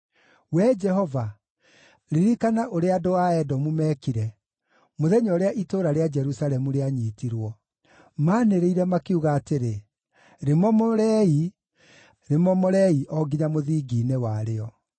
Wee Jehova, ririkana ũrĩa andũ a Edomu meekire, mũthenya ũrĩa itũũra rĩa Jerusalemu rĩanyiitirwo. Maanĩrĩire, makiuga atĩrĩ, “Rĩmomorei, rĩmomorei o nginya mũthingi-inĩ warĩo!”